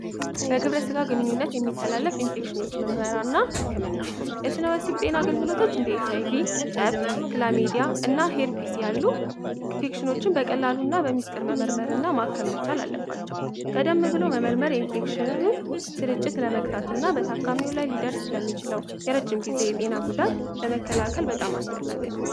በግብረ ጋ ግንኙነት የሚተላለፍ ኢንፌክሽኖች መምህራና ህክምናው የስነ ወሲብ ጤና አገልግሎቶች እንዴትኖችን በቀላሉና በሚስጥር መመርመር እና ማከመቻል አለባቸው ቀደም ብሎ መምህር የኢንፌክሽ ስርጭት ለመቅጣት እና በታካሚው ላይ ሊደር ስለሚችለው የረጅም ጊዜ የጤና ጉዳት ለመከላከል በጣም አስፈላጊ ነው